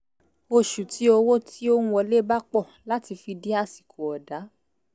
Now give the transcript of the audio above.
oṣù tí owó ti ó ń wọlé bá pọ̀ láti fi di àsìkò ọ̀dá